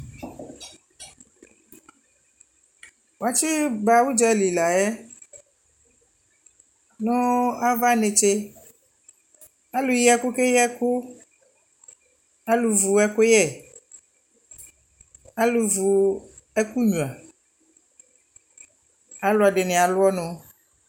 wakyi ba ʋdzali layɛ nʋ aɣa nɛkyɛ, alʋ yi ɛkʋ kɛyi ɛkʋ, alʋ vʋ ɛkʋyɛ, alʋvʋ ɛkʋ nyʋa, alʋɛdini alʋ ɔnʋ